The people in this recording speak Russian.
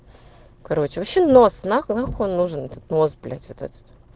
короче вообще нос нахуй нужен этот нос блять вот этот